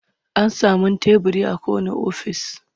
An samun teburi a kowanne ofis.